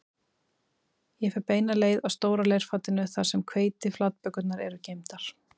Ég fer beina leið að stóra leirfatinu þar sem hveitiflatbökurnar eru geymdar